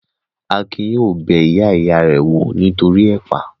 Akin yóò lọ bẹ ìyá ìya rẹ̀ wò nítoríi ẹ̀pà